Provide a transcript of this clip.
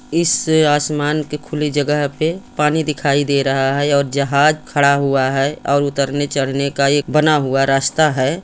। इस आसमान की खुली जगह पे पानी दिखाई दे रहा है और जहाज़ खड़ा हुआ है और उतरने चढ़ने का एक बना हुआ रास्ता है।